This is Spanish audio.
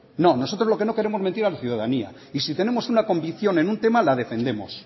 no nosotros lo que no queremos es mentir a la ciudadanía y si tenemos una convicción en un tema la defendemos